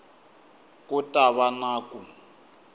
ku ta va na ku